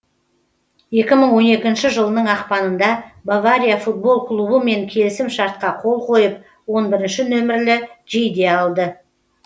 екі мың он екінші жылының ақпанында бавария футбол клубымен келісім шартқа қол қойып он бірінші нөмірлі жейде алды